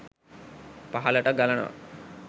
පහළට ගලනවා